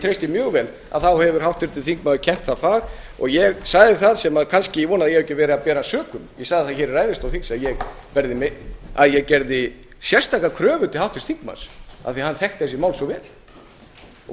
treysti mjög vel þá hefur háttvirtur þingmaður kennt það fag og ég sagði það sem ég kannski vona að ég hafi ekki verið að bera sökum ég sagði í ræðustól þingsins að ég gerði sérstaka kröfu til háttvirts þingmanns af því að hann þekkti þessi mál svo vel